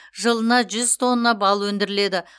жылына жүз тонна бал өндіріледі